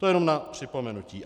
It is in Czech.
To jenom na připomenutí.